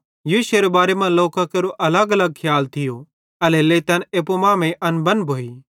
यीशुएरे बारे मां लोकां केरो अलगअलग खियाल थियो एल्हेरेलेइ तैन एप्पू मांमेइं अनबन भोइ